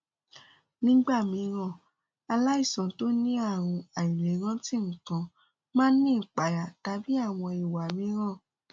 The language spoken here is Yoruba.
nígbà mìíràn aláìsàn tó ní ààrùn àìlèrántí nǹkan máa ń ní ìpayà tàbí àwọn ìwà mìíràn